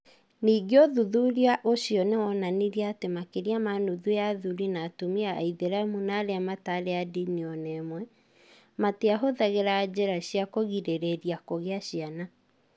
Ningĩ ũthuthuria ũcio nĩ wonanirie atĩ makĩria ma nuthu ya athuri na atumia Aithĩramu na arĩa mataarĩ a ndini o na ĩmwe, matiahũthagĩra njĩra cia kũgirĩrĩria kũgĩa ciana.